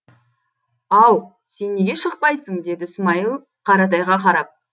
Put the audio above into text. ау сен неге шықпайсың деді смайыл қаратайға қарап